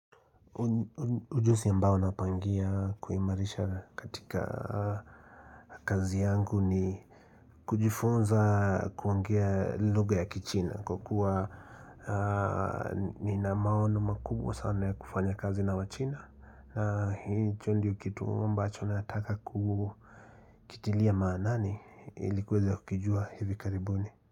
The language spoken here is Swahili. Ujuzi ambao napangia kuimarisha katika kazi yangu ni kujifunza kuongea lugha ya kichina kwa kuwa nina maono makubwa sana ya kufanya kazi na wachina na hicho ndio kitu ambacho nataka kukitilia maanani ilikuweza kukijua hivi karibuni.